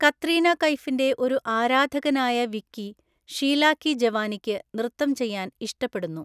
കത്രീന കൈഫിന്റെ ഒരു ആരാധകനായ വിക്കി ഷീല കി ജവാനിയ്ക്ക് നൃത്തം ചെയ്യാൻ ഇഷ്ടപ്പെടുന്നു.